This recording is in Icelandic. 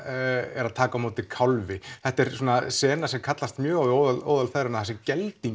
er að taka á móti kálfi þetta er sena sem kallast mjög á við óðal feðranna þar sem